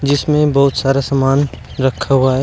जिसमें बहुत सारा सामान रखा हुआ है।